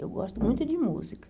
Eu gosto muito de música.